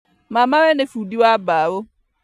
Mamawe nĩ bundi wa mbao